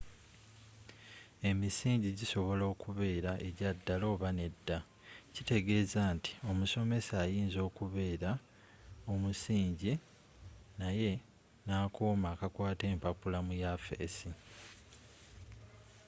emisingi gisobola okubera egyaddala oba nedda kitegezza nti omusomesa ayinza okubera omusingi naye n'akoma akakwata empapula mu yafisi